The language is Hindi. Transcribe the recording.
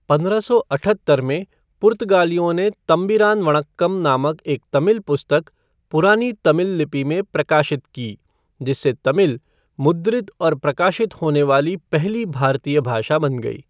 पंद्रह सौ अठहत्तर में, पुर्तगालियों ने 'थंबीरान वनक्कम' नामक एक तमिल पुस्तक पुरानी तमिल लिपि में प्रकाशित की, जिससे तमिल मुद्रित और प्रकाशित होने वाली पहली भारतीय भाषा बन गई।